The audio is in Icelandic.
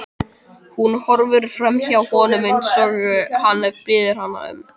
Hún horfir framhjá honum eins og hann biður hana um.